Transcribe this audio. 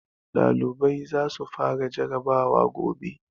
ɗalibai za su fara jarrabawa gobe